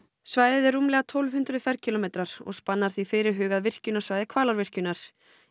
svæðið er um tólf hundruð ferkílómetrar og spannar því fyrirhugað virkjunarsvæði Hvalárvirkjunar